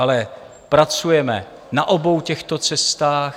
Ale pracujeme na obou těchto cestách.